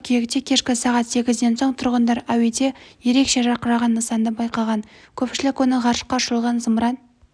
қыркүйекте кешкі сағат сегізден соң тұрғындар әуеде ерекше жарқыраған нысанды байқаған көпшілік оны ғарышқа ұшырылған зымыран